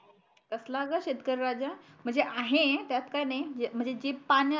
कसला ग शेतकरी राजा म्हणजे आहे त्यात काही नाही म्हणजे जी पान